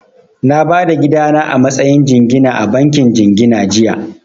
Na ba da gida na a matsayin jingina a bankin jingina jiya